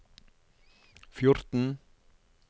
fjorten